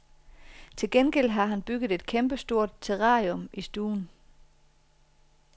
Til gengæld har han bygget et kæmpestort terrarium i stuen.